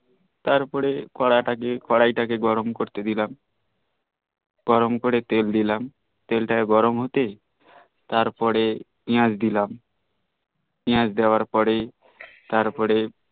তারপরে করাই টা কে গরম করতে দিলাম গরম করে তেল দিলাম তেল তার গরম হতেই তারপরে পেয়াজ দিলাম পেয়াজ দেওয়ার পরেই তারপরে